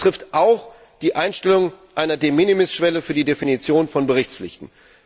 Dies betrifft auch die Einstellung einer De minimis Schwelle für die Definition von Berichtspflichten.